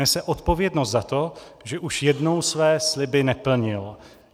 Nese odpovědnost za to, že už jednou své sliby neplnil.